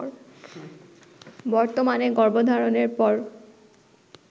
বর্তমানে গর্ভধারণের পর